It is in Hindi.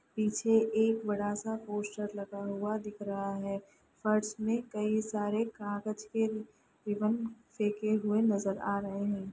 पीछे एक बडा सा पोस्टर लगा हुआ दिख रहा है फर्श में कई सारे कागज के रिबन फेके हुए नजर आ रहे हैं।